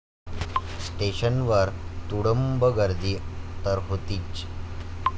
स्टेशनवर तुडूंब गर्दी तर होतीच.